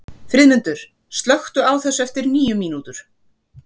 Friðmundur, slökktu á þessu eftir níu mínútur.